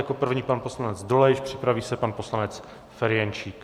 Jako první pan poslanec Dolejš, připraví se pan poslanec Ferjenčík.